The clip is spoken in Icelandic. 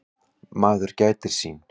Maður gætir sín.